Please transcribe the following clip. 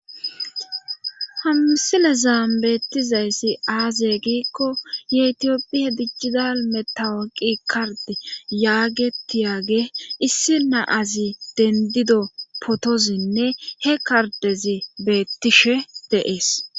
Ha misilezan beetidayssi aaze giikko yetophiya dijital metawuqiya kardi yaagetiyagee issi na'azi dendido pootozinne he kardezi beetishe de'ees.